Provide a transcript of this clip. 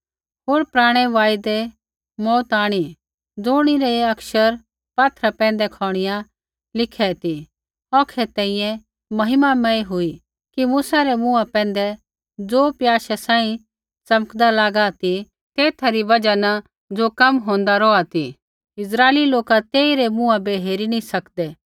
होर पराणै वायदै मौऊत आंणी ज़ुणिरै अक्षर पात्थरा पैंधै खोणीया लिखी रै ती औखै तैंईंयैं महिमामय हुई कि मूसा रै मुँहा पैंधै ज़ो प्याशे सांही च़मकदा लागी रा ती तेथा री बजहा न ज़ो कम होंदा रौहा ती इस्राइली लोका तेई रै मुँहा बै हेरी नी सकदै